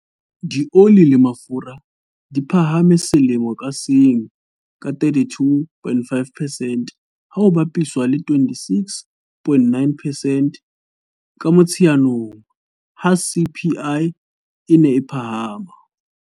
Dioli le mafura di phahame selemo ka seng ka 32.5 percent, ha ho bapiswa le 26.9 percent ka Motsheanong ha CPI e ne e phahama.